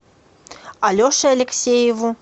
алеше алексееву